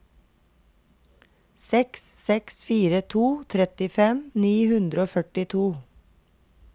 seks seks fire to trettifem ni hundre og førtito